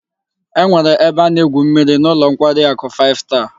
E nwere ebe a na-egwu mmiri n'ulo nkwari aku five star